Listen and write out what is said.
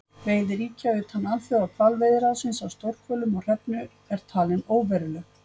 Veiði ríkja utan Alþjóðahvalveiðiráðsins á stórhvölum og hrefnu er talin óveruleg.